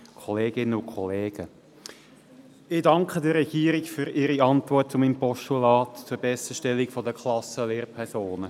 Ich danke der Regierung für ihre Antwort zu meinem Postulat zur Besserstellung der Klassenlehrpersonen.